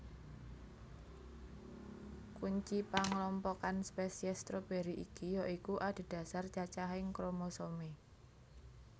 Kunci panglompokan spesies stroberi iki ya iku adhedhasar cacahing kromosomé